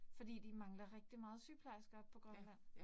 Fordi de mangler rigtig meget sygeplejersker oppe på Grønland